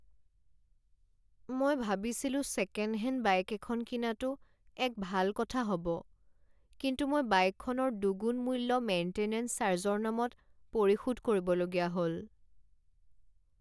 মই ভাবিছিলো second hand bike এখন কিনাটো এক ভাল কথা হ'ব কিন্তু মই বাইকখনৰ দুগুণ মূল্য মেইন্টেনেঞ্চ চাৰ্জৰ নামত পৰিশোধ কৰিবলগীয়া হ'ল।